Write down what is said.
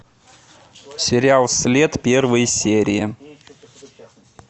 сериал след первые серии